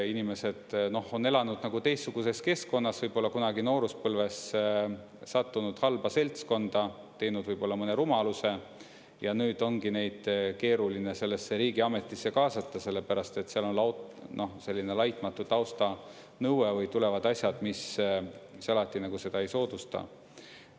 Inimesed on elanud teistsuguses keskkonnas, võib-olla kunagi nooruspõlves sattunud halba seltskonda, teinud võib-olla mõne rumaluse, ja nüüd ongi neid keeruline sellesse riigiametisse kaasata, sellepärast et seal on selline laitmatu tausta nõue, või tulevad asjad, mis see alati seda ei soodusta.